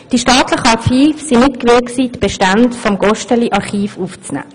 Die staatlichen Archive waren nicht gewillt, die Bestände des Gosteli-Archivs aufzunehmen.